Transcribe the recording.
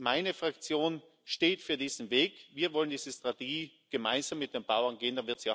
Meine Fraktion steht für diesen Weg, wir wollen diese Strategie gemeinsam mit den Bauern gehen.